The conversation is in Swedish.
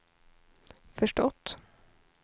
förstått